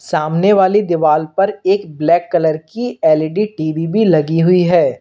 सामने वाली दीवाल पर एक ब्लैक कलर की एल_इ_डी टी_वी भी लगी हुई है।